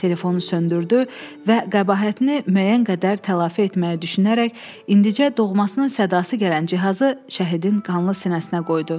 Telefonu söndürdü və qəbahətini müəyyən qədər tələfi etməyi düşünərək indicə doğmasının sədası gələn cihazı şəhidin qanlı sinəsinə qoydu.